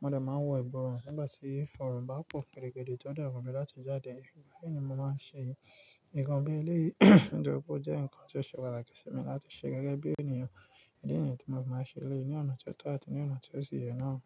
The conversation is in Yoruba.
mo dè máa wọ ìbọ̀run nígbà tí ọ̀rùn bá pọ̀ kẹ̀rẹ̀kẹ̀dẹ̀ tó dé wù mi láti jáde. Bẹ́ẹ̀ ni mo máa ṣe yìí. Nǹkan bí eléyi nítorí pé ó jẹ́ nǹkan tó ṣe pàtàkì sí mi láti ṣe gẹ́gẹ́ bí ènìyàn. Ní yì tí mo fi máa ṣe eléyi ní ọ̀nà tí ó tọ́ àti ní ọ̀nà tó sì yẹ náà.